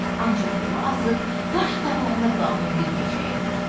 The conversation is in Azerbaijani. Ancaq yolu azıb, qaş qaralanda qalın bir meşəyə girdi.